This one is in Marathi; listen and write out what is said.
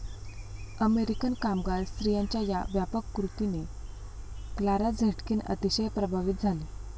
अमेरिकन कामगार स्त्रियांच्या या व्यापक कृतीने क्लारा झेटकिन अतिशय प्रभावित झाली.